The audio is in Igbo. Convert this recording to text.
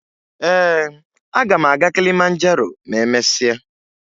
Ee, aga m aga Kilimanjaro ma emesịa